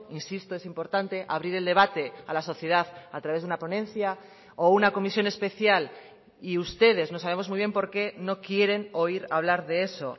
insisto es importante abrir el debate a la sociedad a través de una ponencia o una comisión especial y ustedes no sabemos muy bien por qué no quieren oír hablar de eso